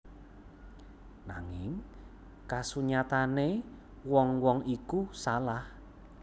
Nanging kasunyatane wong wong iku salah